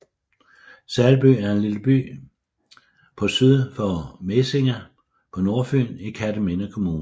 Salby er en lille by på syd for Mesinge på Nordfyn i Kerteminde Kommune